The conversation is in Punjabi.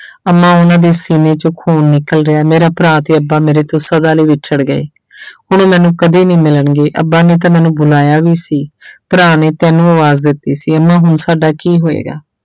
ਅੰਮਾ ਉਹਨਾਂ ਦੇ ਸੀਨੇ ਚੋਂ ਖੂਨ ਨਿਕਲ ਰਿਹਾ ਹੈ ਮੇਰਾ ਭਰਾ ਤੇ ਅੱਬਾ ਮੇਰੇ ਤੋਂ ਸਦਾ ਲਈ ਵਿਛੜ ਗਏ ਹੁਣ ਮੈਨੂੰ ਕਦੇ ਨੀ ਮਿਲਣਗੇ, ਅੱਬਾ ਨੇ ਤਾਂ ਮੈਨੂੰ ਬੁਲਾਇਆ ਵੀ ਸੀ ਭਰਾ ਨੇ ਤੈਨੂੰ ਆਵਾਜ਼ ਦਿੱਤੀ ਸੀ, ਅੰਮਾ ਹੁਣ ਸਾਡਾ ਕੀ ਹੋਏਗਾ?